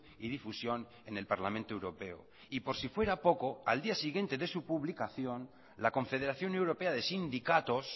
y difusión en el parlamento europeo y por si fuera poco al día siguiente de su publicación la confederación europea de sindicatos